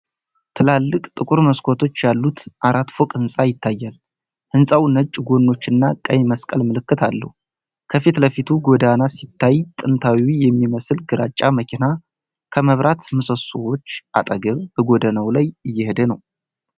ትላልቅ ጥቁር መስኮቶች ያሉት አራት ፎቅ ህንጻ ይታያል። ህንጻው ነጭ ጎኖችና ቀይ መስቀል ምልክት አለው። ከፊት ለፊቱ ጎዳና ሲታይ ጥንታዊ የሚመስል ግራጫ መኪና ከመብራት ምሰሶዎች አጠገብ በጎዳናው ላይ እየሄደ ነው።